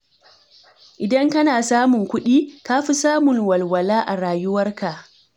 Idan kana samun kuɗi, ka fi samun walwala a rayuwarka.